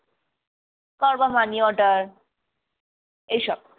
কারোর বা money-order এইসব।